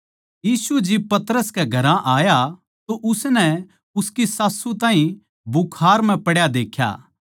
यीशु जिब पतरस के घरां आया तो उसनै उसकी सास्सू ताहीं बुखार म्ह पड्या देख्या